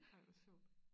Ej hvor sjovt